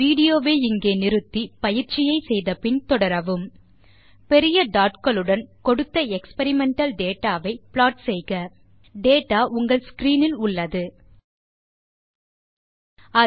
video வை இங்கே pause செய்க பின் வரும் சோதனையை செய்து பார்த்து பின் வீடியோ வை மீண்டும் துவக்கவும் பெரிய டாட் களுடன் கொடுத்த எக்ஸ்பெரிமெண்டல் டேட்டா ஐ ப்ளாட் செய்க டேட்டா உங்கள் ஸ்க்ரீன் இல் இருக்கிறது